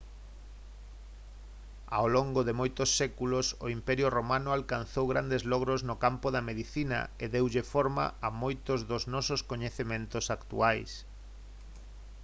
ao longos de moitos séculos o imperio romano alcanzou grandes logros no campo da medicina e deulle forma a moitos dos nosos coñecementos actuais